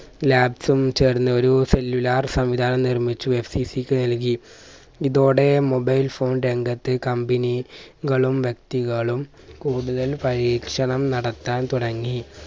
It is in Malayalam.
labs ഉം ചേർന്ന് ഒരു cellular സംവിധാനം നിർമ്മിച്ചു FCC ക്ക് നൽകി. ഇതോടെ mobile phone രംഗത്ത് company കളും വ്യക്തികളും കൂടുതൽ പരീക്ഷണം നടത്താൻ